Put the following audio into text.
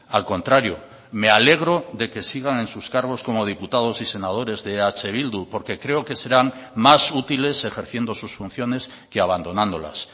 al contrario me alegro de que sigan en sus cargos como diputados y senadores de eh bildu porque creo que serán más útiles ejerciendo sus funciones que abandonándolas